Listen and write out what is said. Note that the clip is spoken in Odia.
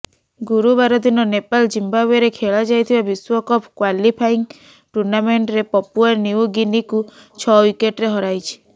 ଗୁରୁବାରଦିନ ନେପାଲ ଜିଂବାୱେରେ ଖେଳାଯାଇଥିବା ବିଶ୍ବ କପ କ୍ବାଲିଫାଇଙ୍ଗ ଟୁର୍ଣ୍ଣାମେଣ୍ଟରେ ପପୁଆ ନ୍ୟୁ ଗୀନୀକୁ ଛଅ ୱିକେଟରେ ହରାଇଛି